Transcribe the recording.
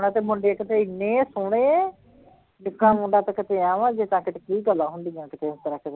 ਹਾਂ ਤੇ ਮੁੰਡੇ ਇੱਕ ਤੇ ਇਹਨੇ ਸੋਹਣੇ ਨਿੱਕਾ ਮੁੰਡਾ ਤੇ ਕਿਤੇ ਐਂ ਵਾਂ ਜਿੱਦਾਂ ਕਿ ਕੀ ਹੁੰਦੀਆਂ ਕੀਤੇ ਉਸ ਤਰ੍ਹਾਂ